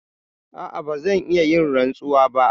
A'a, ba zan iya yin rantsuwa ba.